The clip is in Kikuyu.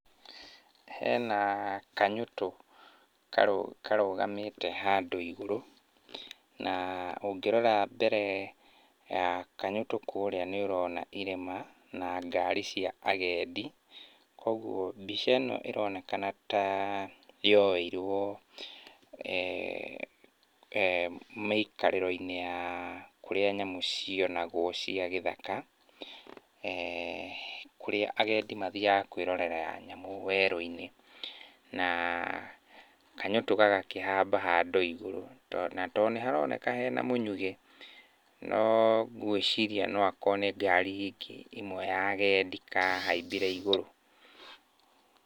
Hena kanyũtũ karũgamĩte handũ igũrũ, na ũngĩrora mbere ya kanyũtũ kũrĩa nĩũrona irĩma na ngari cia agendi. Kuoguo mbica ĩno ĩroneka ta yoeirwo mĩikarĩro-inĩ ya kũrĩa nyamũ cionagwo cia gĩthaka kũrĩa agendi mathiaga kwĩrorera nyamũ gĩthaka-inĩ. Na kanyũtũ gaka gakĩhamba handũ igũrũ, tondũ ona nĩharoneka hena mũnyugĩ, no ngwĩciria no akorwo nĩ ngari ĩngĩ ĩmwe ya agendi kahaimbire igũrũ.